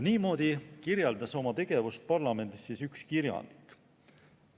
" Niimoodi kirjeldas oma tegevust parlamendis üks kirjanik.